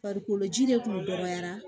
Farikolo ji de kun dɔgɔyara